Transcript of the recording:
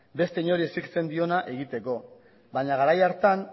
beste inori exigitzen diona egiteko baina garai hartan